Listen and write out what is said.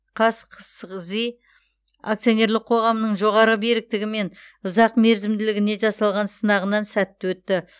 қазқсғзи акционерлік қоғамының жоғары беріктігі мен ұзақ мерзімділігіне жасалған сынағынан сәтті өтті